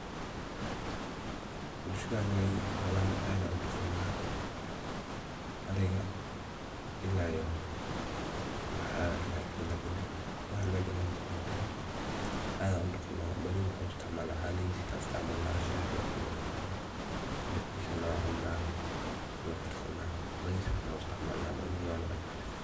Bulshadeyni anaga xolahan aad ayan u daqana, Ariga waa nooc xoolaha ka mid ah oo aad ugu badan beeralayda iyo reer guuraaga bariga Afrika. Waxaa loo dhaqdaa hilib, caano, iyo mararka qaar harag. Ariga waa xoolo adkaysi leh, waxayna ku fiicanyihiin deegaanka qallalan iyo dhulka baadiyaha ah. O wan isticmalna.